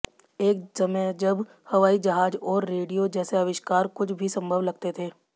एक समय जब हवाई जहाज और रेडियो जैसे आविष्कार कुछ भी संभव लगते थे